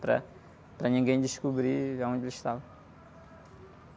Para, para ninguém descobrir onde eles estavam.